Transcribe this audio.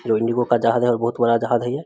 जो इंडिगो का जहाज है और बहुत बड़ा जहाज है ये।